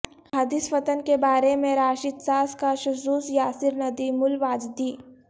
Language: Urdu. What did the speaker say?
احادیث فتن کے بارے میں راشد شاز کا شذوذ یاسر ندیم الواجدی